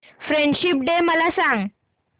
friendship day मला सांग